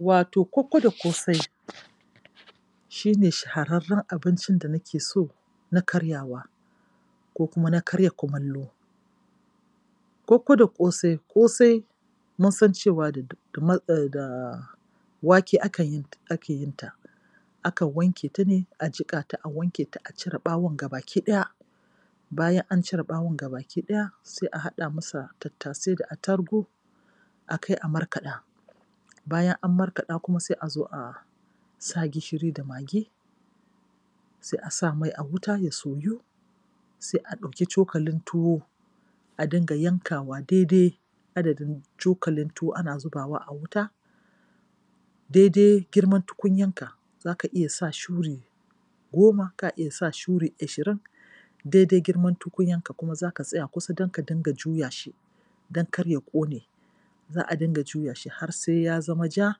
Wato kokko da ƙosai shi ne shahararren abin da nake so na karyawa ko kuma na karya kumallo. Kokko da ƙosai: Ƙosai mun san cewa da um da wake akan yi ake yinta Akan wanke ta ne a jiƙa ta a wanke ta a cire ɓawon gabaki ɗaya. Bayan an cire ɓawon gabaki ɗaya sai a haɗa masa tattasai da attarugu. a kai a markaɗa. Bayan an markaɗa kuma sai a zo a sa gishiri da magi sai a sa mai a wuta ya soyu, sai a ɗauki cokalin tuwo a dinga yankawa daidai adadin cokalin tuwo ana zubawa a wuta Daidai girman tukunyaka, za ka iya sa shuri goma, ka iya sa shuri ashirin. Daidai girman tukunyanka, za ka tsaya kusa don ka dinga juya shi don kar ya ƙone, za a dinga juya shi har sai ya zama ja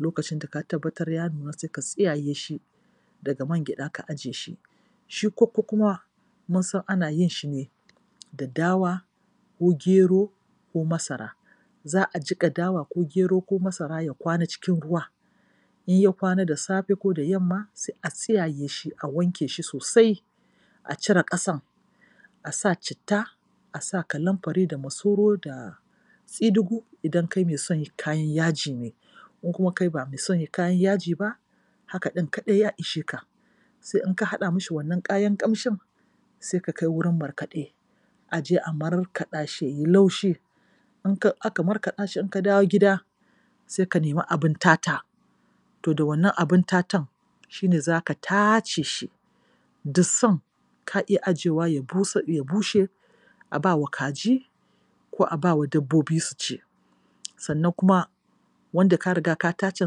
Lokacin da ka tabbatara ya nuna sai ka tsiyaye shi daga mangayaɗa, ka ajiye shi. Shi kokko kuma mun san ana yin shi ne da dawa ko gero ko masara. Za a jiƙa dawa ko gero ko masara ya kwana cikin ruwa in ya kwana da safe ko da yamma sai a tsiyaye a wanke shi sosai a cire ƙasan a sa citta; a sa kalamfari da masoro da tsidugu idan kai mai son kayan yaji ne. In kuma kai ba mai son kayan yaji ba Haka ɗin kaɗai ya ishe ka. Sai in ka haɗa mishi wannan kayan ƙamshin sai ka kai wurin markaɗe a je a markaɗa shi ya yi laushi. In ka aka markaɗa shi in ka dawo gida sai ka nemi abin tata. To da wannan abin tatan shi ne za ka tace shi Dusan ka iya ajiyewa ya bushe--ko a ba wa kaji ko dabbobi su ci. Sannan kuma wanda ka riga ka tacen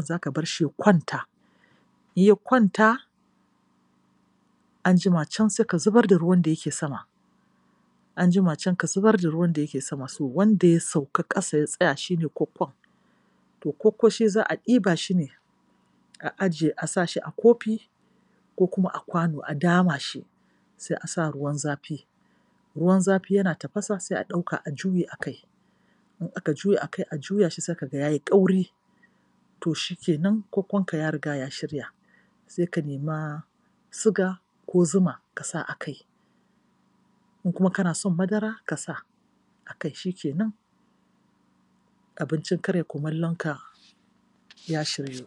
za ka bar shi ya kwanta. In ya kwanta, an jima can sai ka zubar da ruwan da yake sama. An jima can ka zubar da ruwan da yake sama. So wanda ya sauka ƙasa ya tsaya shi ne kokkon. Kokko shi za a ɗiba shi ne a ajiye a sa shi a kofi komu a kwano a dama shi sai a sa shi a ruwan zafi Ruwan zafi yana tafasa sai a ɗauka a juye a kai. In aka juye a kai a juya shi sai ka ga ya yi ƙauri. To shi ke nan kokkonka ya riga ya shirya. Sai ka nema siga ko zuma ka sa kai. In kuma kana son madara ka sa a kai. Shi ke nan. Abincin karya kumallonka ya shiryu.